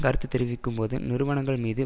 கருத்து தெரிவிக்கும்போது நிறுவனங்கள் மீது